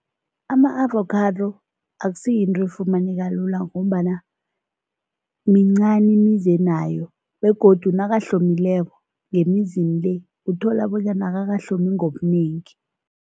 Ama-avokhado akusiyinto efumaneka elula ngombana mincani imizi enayo begodu nakahlomileko ngemizini le, uthola bonyana akakahlomi ngobunengi.